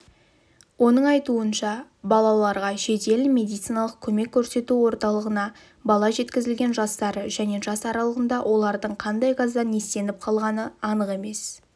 оның айтуынша балаларға жедел медициналық көмек көрсету орталығына бала жеткізілген жастары және жас аралығында олардың қандай газдан иістеніп қалғаны анық емес